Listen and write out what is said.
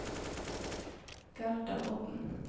Gerda Odden